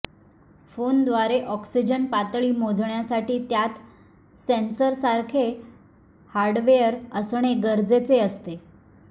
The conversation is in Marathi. फोनद्वारे ऑक्सिजन पातळी मोजण्यासाठी त्यात सेंसर्ससारखे हार्डवेअर असणे गरजेचे असते